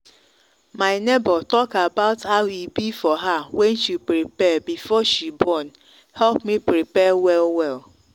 my neighbor talk about how e be for her when she prepare before she borne help me prepare well well.